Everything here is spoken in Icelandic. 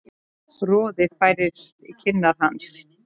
Roði færist í kinnar hans.